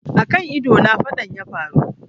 A kan ido na faɗan yafaru